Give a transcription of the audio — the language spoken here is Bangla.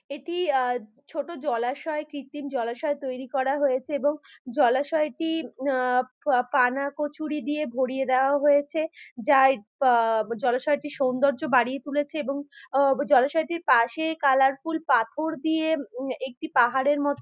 এটি আ ছোট জলাশয় কৃত্রিম জলাশয় তৈরি করা হয়েছে এবং জলাশয় টি আ পানা কচুরি দিয়ে ভরিয়ে দেওয়া হয়েছে যা আ জলাশয়টি সৌন্দর্য বাড়িয়ে তুলেছে এবং আ জলাশয়টির পাশে কালারফুল পাথর দিয়ে উম একটি পাহাড়ের ম--